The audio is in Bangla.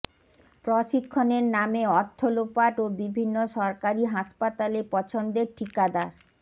প্রশিক্ষণের নামে অর্থ লোপাট ও বিভিন্ন সরকারি হাসপাতালে পছন্দের ঠিকাদার